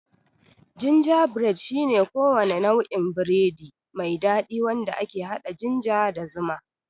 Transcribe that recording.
Gingerbread shine kowane nau'in biredi mai dadi wanda ke hada ginger da zuma.